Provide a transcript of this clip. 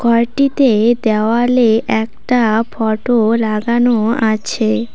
ঘরটিতে দেওয়ালে একটা ফটো লাগানো আছে।